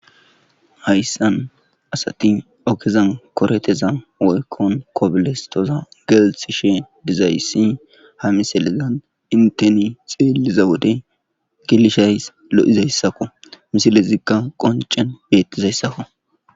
hayssan asati ogezan koreteza woykkon kobole stoza geelsi she dizayssi ha misalezan inteni xeeliza wode gelishays lo7izayssakko misile zigka qoncen beettizayssakko